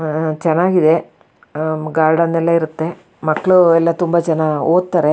ಆಹ್ಹ್ಹ್ ಚೆನ್ನಾಗಿದೆ ಗಾರ್ಡನ್ ಎಲ್ಲ ಇರುತ್ತೆ ಮಕ್ಕಳು ಎಲ್ಲ ತುಂಬಾ ಜನ ಓದ್ತಾರೆ.